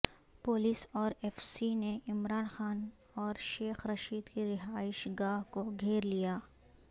police اورایف C نےعمران خان اور شیخ رشید کی رہائش گاہ کو گھیر لیا